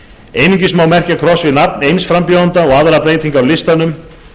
einungis má merkja kross við nafn eins frambjóðanda og aðrar breytingar á listanum